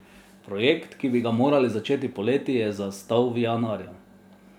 Projekt, ki bi ga morali začeti poleti, je zastal v januarju.